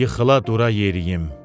Yıxıla dura yeriyim.